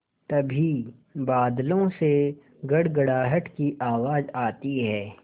तभी बादलों से गड़गड़ाहट की आवाज़ आती है